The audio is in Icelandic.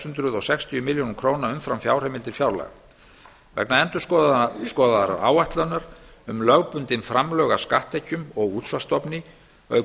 hundruð sextíu milljónir króna umfram fjárheimildir fjárlaga vegna endurskoðaðrar áætlunar um lögbundin framlög af skatttekjum og útsvarsstofni auk